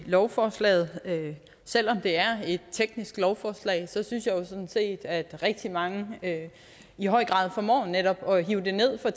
lovforslaget selv om det er et teknisk lovforslag synes jeg jo sådan set at rigtig mange i høj grad formår netop at hive det ned fra